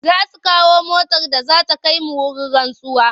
Za su kawo motar da za ta kai mu wurin rantsuwa.